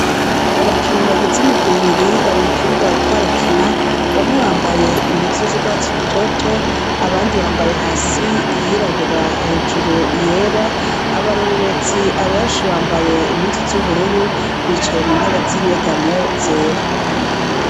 Abakinyi bagize imigwi ibiri bari mu kibuga bariko barakina, bamwe bambaye impuzu z'urwatsi rutoto, abandi bambaye hasi iyirabura hejuru iyera, abarorerezi abenshi bambaye impuzu z'ubururu, bicaye mu ntebe z'inyegamo zera.